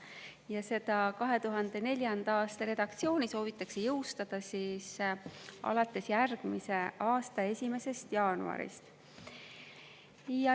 Ja seda 2004. aasta redaktsiooni soovitakse jõustada alates järgmise aasta 1. jaanuarist.